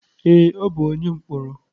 Ee, ọ bụ onye mkpọrọ.